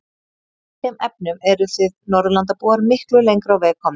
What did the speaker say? Í þeim efnum eruð þið Norðurlandabúar miklu lengra á veg komnir.